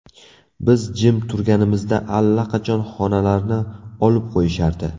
Biz jim turganimizda allaqachon xonalarni olib qo‘yishardi.